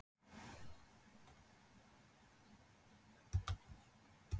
Danir geta lært mannasiði, ef vel er að þeim farið.